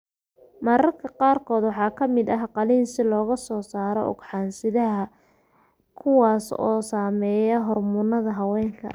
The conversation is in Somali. Mararka qaarkood waxaa ka mid ah qalliin si looga saaro ugxan-sidaha, kuwaas oo sameeya hormoonnada haweenka.